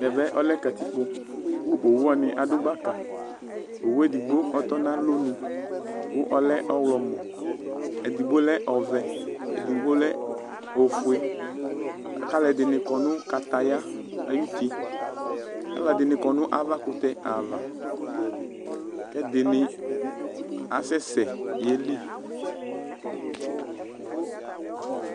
Ɛvɛ ɔlɛ kǝtikpo, kʋ owu wanɩ adʋ gbakaOwu edigbo ɔtɔ na alonu kʋ ɔlɛ ɔɣlɔmɔ, edigbo lɛ ɔvɛ, edigbo lɛ ofueAlʋ ɛdɩnɩ kɔ nʋ kataya ayʋ utiAlʋ ɛdɩnɩ kɔ nʋ avakʋtɛ ava, kɛdɩnɩ asɛsɛ yeli